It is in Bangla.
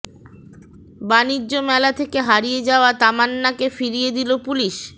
বাণিজ্য মেলা থেকে হারিয়ে যাওয়া তামান্নাকে ফিরিয়ে দিলো পুলিশ